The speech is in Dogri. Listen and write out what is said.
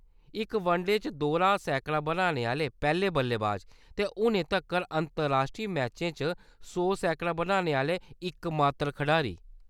इक वनडे च दोह्‌रा सैकड़ा बनाने आह्‌‌‌ले पैह्‌‌‌ले बल्लेबाज, ते हुनै तक्कर अंतर-राश्ट्री मैचें च सौ सैकड़ा बनाने आह्‌‌‌ले इकमात्तर खढारी।